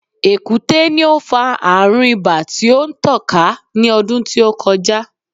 Èkúté ni ó fa àrùn ibà tí ó tàn ká ní ọdú tí ó kọjá.